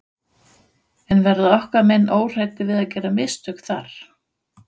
En verða okkar menn óhræddir við að gera mistök þar?